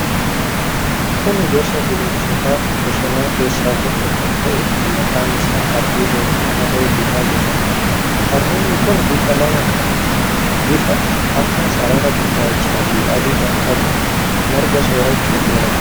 Kun gosa bineensota bosonaa keessaa tokko kan ta'e, kan maqaan isaa hardiida yookiin harree didaa jedhamuudha. Hardiidni kun bifa lama; bifa akka sarara gurraachaa fi adii kan qabuudha. Marga soorachuun jiraata.